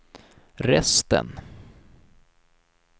resten